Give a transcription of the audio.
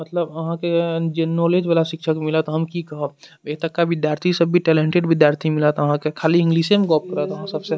मतलब अहाँ के जे नॉलेज वाला शिक्षक मिलत हम की कहब एता का विद्यार्थी सब भी टैलेंटेड विद्यार्थी मिलत अहाँ के खाली इंग्लिशे में गप करत आहां सबसे।